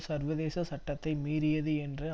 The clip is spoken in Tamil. சர்வதேச சட்டத்தை மீறியது என்று